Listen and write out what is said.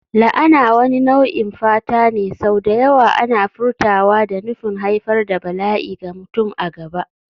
La'ana wani nau'in fata ne, sau da yawa ana furtawa da nufin haifar da bala'i ga mutum a gaba.